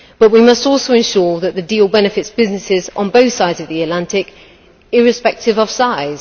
But we must also ensure that the deal benefits businesses on both sides of the Atlantic, irrespective of size.